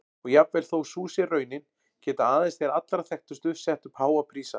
Og jafnvel þó sú sé raunin geta aðeins þeir allra þekktustu sett upp háa prísa.